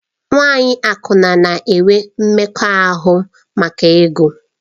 Nwanyị akwụna na-enwe mmekọahụ maka ego.